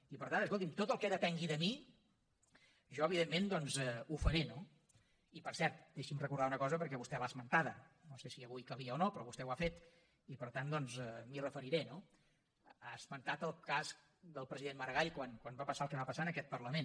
i per tant escolti’m tot el que depengui de mi jo evidentment ho faré no i per cert deixi’m recordar una cosa perquè vostè l’ha esmentada no sé si avui calia o no però vostè ho ha fet i per tant doncs m’hi referiré no ha esmentat el cas del president maragall quan va passar el que va passar en aquest parlament